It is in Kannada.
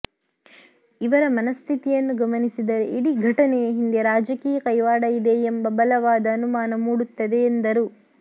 ಇವರ ಮನಸ್ಥಿತಿಯನ್ನು ಗಮನಿಸಿದರೆ ಇಡೀ ಘಟನೆಯ ಹಿಂದೆ ರಾಜಕೀಯ ಕೈವಾಡ ಇದೆ ಎಂಬ ಬಲವಾದ ಅನುಮಾನ ಮೂಡುತ್ತದೆ ಎಂದರು